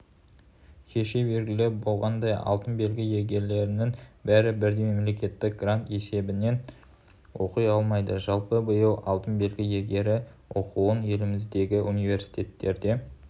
кеше белгілі болғандай алтын белгі иегерлерінің бәрі бірдей мемлекеттік грант есебінен оқи алмайды жалпы биыл алтын белгі иегері оқуын еліміздегі университеттерде